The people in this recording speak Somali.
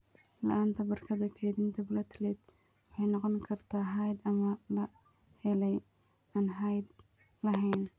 La'aanta barkadda kaydinta platelet waxay noqon kartaa hidde ama la helay (aan hidde lahayn).